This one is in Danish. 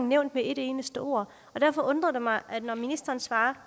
nævnt med et eneste ord og derfor undrer det mig at ministeren svarer